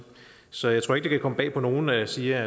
så jeg tror ikke det kan komme bag på nogen når jeg siger